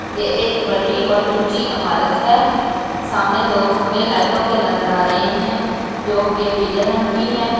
ये एक बड़ी और ऊंची अमारत है सामने दो खंबे लाइटोंन के नजर आ रहे हैं जो के पीले रंग की हैं।